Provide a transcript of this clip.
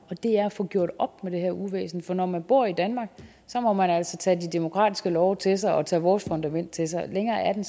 og det er at få gjort op med det her uvæsen for når man bor i danmark må man altså tage de demokratiske love til sig og tage vores fundament til sig længere er den